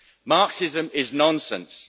Marxism is nonsense.